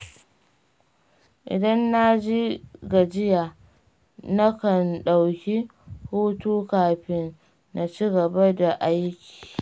Idan na ji gajiya, nakan ɗauki hutu kafin na ci gaba da aiki.